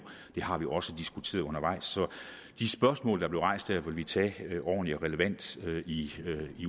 det har vi også diskuteret undervejs så de spørgsmål der blev rejst her vil vi tage ordentligt og relevant i